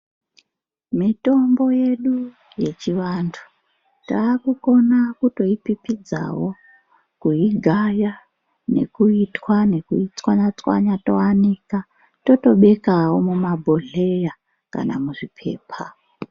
Mitombo yedu yechivantu takukona kutoipipidzawo, kuigaya nekuitwa nekuitswanya-tswanya toanika. Totobekavo mumabhodhleya kana muzvipepa.